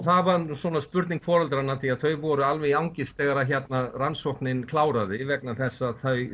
það var svona spurning foreldranna því þau voru alveg í angist þegar rannsóknin kláraðist vegna þess að þau